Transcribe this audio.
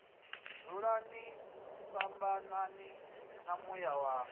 dzulani fhambanani na muya wanga